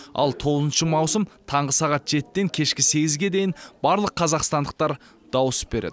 ал тоғызыншы маусым таңғы сағат жетіден кешкі сегізге дейін барлық қазақстандықтар дауыс береді